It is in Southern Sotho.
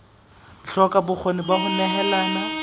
hloka bokgoni ba ho nehelana